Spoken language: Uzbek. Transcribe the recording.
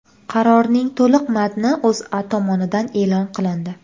Qarorning to‘liq matni O‘zA tomonidan e’lon qilindi .